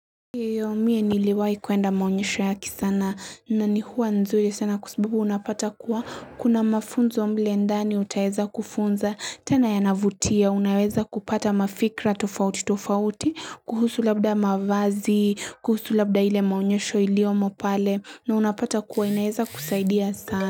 Mie niliwai kuenda maunyesho yaki sana na ni huwa nzuri sana kwa sababu unapata kuwa kuna mafunzo mle ndani utaeza kufunza tena yanavutia unaweza kupata mafikra tofauti tofauti kuhusu labda mavazi kuhusu labda ile maunyesho iliomo pale na unapata kuwa inaeza kusaidia sana.